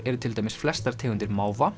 eru til dæmis flestar tegundir